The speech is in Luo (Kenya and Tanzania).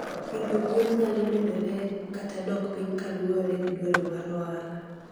Pidho gwen nyalo medore kata dok piny kaluwore gi dwaro mar ohala.